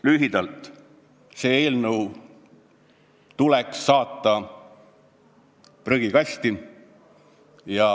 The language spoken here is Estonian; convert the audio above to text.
Lühidalt, see eelnõu tuleks saata prügikasti.